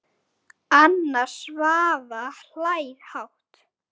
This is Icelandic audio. Anna Svava hlær hátt.